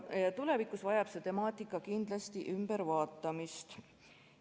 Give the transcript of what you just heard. Tulevikus vajab see temaatika kindlasti ümbervaatamist.